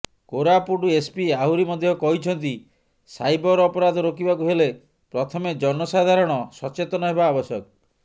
Koraput SP ଆହୁରି ମଧ୍ୟ କହିଛନ୍ତି ସାଇବର ଅପରାଧ ରୋକିବାକୁ ହେଲେ ପ୍ରଥମେ ଜନସାଧାରଣ ସଚେତନ ହେବା ଆବଶ୍ୟକ